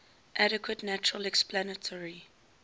adequate natural explanatory